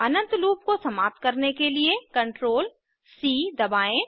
अनंत loop को समाप्त करने के लिए CtrlC दबाएं